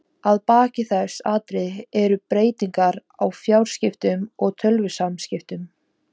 Að baki þessum atriðum eru breytingar á fjarskiptum og tölvusamskiptum.